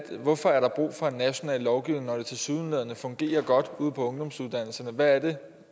se hvorfor der er brug for en national lovgivning når det tilsyneladende fungerer godt ude på ungdomsuddannelserne hvad er det